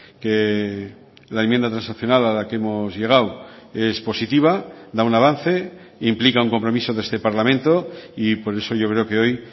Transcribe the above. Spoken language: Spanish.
que la enmienda transaccional a la que hemos llegado es positiva da un avance implica un compromiso de este parlamento y por eso yo creo que hoy